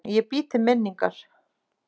Ég bý til minningar.